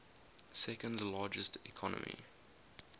second largest economy